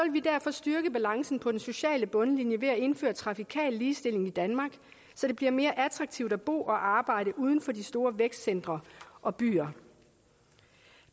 vi derfor styrke balancen på den sociale bundlinje ved at indføre trafikal ligestilling i danmark så det bliver mere attraktivt at bo og arbejde uden for de store vækstcentre og byer